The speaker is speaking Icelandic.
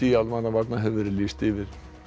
almannavarna hefur verið lýst yfir